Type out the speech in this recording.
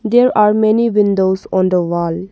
There are many windows on the wall.